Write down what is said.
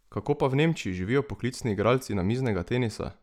Kako pa v Nemčiji živijo poklicni igralci namiznega tenisa?